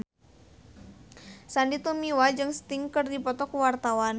Sandy Tumiwa jeung Sting keur dipoto ku wartawan